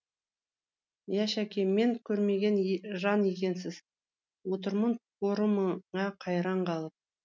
әй шәке мен көрмеген жан екенсіз отырмын порымыңа қайран қалып